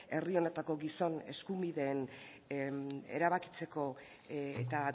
herri honetako gizon eskubideen erabakitzeko eta